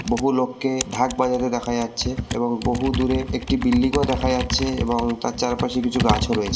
বহু লোককে ঢাক বাজাতে দেখা যাচ্ছে এবং বহুদূরে একটি বিল্ডিংও দেখা যাচ্ছে এবং তার চারপাশে গাছ ও রয়ে--